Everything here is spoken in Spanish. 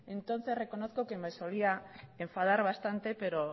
entonces reconozco que me solía enfadar bastante pero